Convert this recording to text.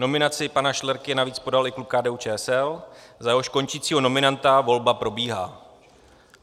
Nominaci pana Šlerky navíc podal i klub KDU-ČSL, za jehož končícího nominanta volba probíhá.